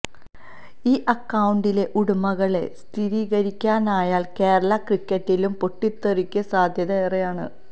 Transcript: ഈ അക്കൌണ്ടിലെ ഉടമകളെ സ്ഥിരീകരിക്കാനായാൽ കേരളാ ക്രിക്കറ്റിലും പൊട്ടിത്തെറിക്ക് സാധ്യത ഏറെയാണ്